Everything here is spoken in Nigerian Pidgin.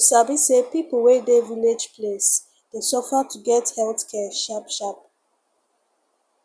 you sabi say people wey dey village place dey suffer to get health care sharp sharp